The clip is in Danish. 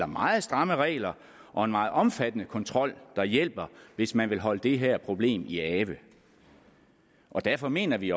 meget stramme regler og en meget omfattende kontrol der hjælper hvis man vil holde det her problem i ave derfor mener vi